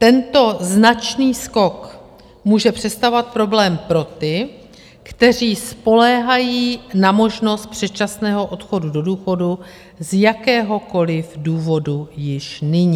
Tento značný skok může představovat problém pro ty, kteří spoléhají na možnost předčasného odchodu do důchodu z jakéhokoliv důvodu již nyní.